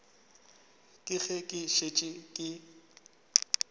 ke ge ke šetše ke